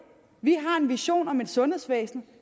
vi har en vision om et sundhedsvæsen